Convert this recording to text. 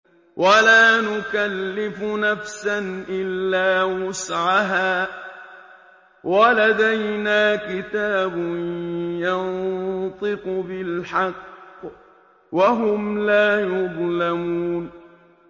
وَلَا نُكَلِّفُ نَفْسًا إِلَّا وُسْعَهَا ۖ وَلَدَيْنَا كِتَابٌ يَنطِقُ بِالْحَقِّ ۚ وَهُمْ لَا يُظْلَمُونَ